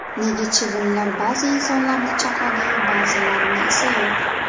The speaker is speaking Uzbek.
Nega chivinlar ba’zi insonlarni chaqadi-yu ba’zilarni esa yo‘q.